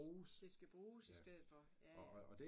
Det skal bruges i stedet for ja ja